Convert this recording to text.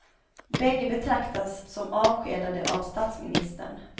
Bägge betraktas som avskedade av statsministern.